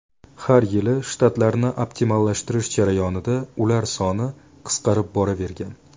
Har yili shtatlarni optimallashtirish jarayonida ular soni qisqarib boravergan.